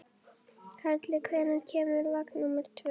Karli, hvenær kemur vagn númer tvö?